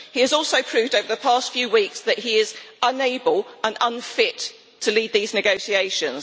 He has also proved over the past few weeks that he is unable and unfit to lead these negotiations.